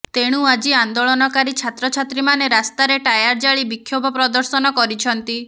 ତେଣୁ ଆଜି ଆନ୍ଦୋଳନକାରୀ ଛାତ୍ରଛାତ୍ରୀମାନେ ରାସ୍ତାରେ ଟାୟାର ଜାଳି ବିକ୍ଷୋଭ ପ୍ରଦର୍ଶନ କରିଛନ୍ତି